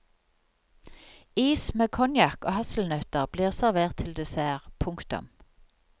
Is med konjakk og hasselnøtter blir servert til dessert. punktum